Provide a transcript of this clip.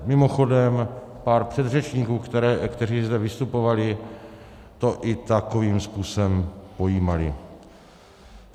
Mimochodem, pár předřečníků, kteří zde vystupovali, to i takovým způsobem pojímalo.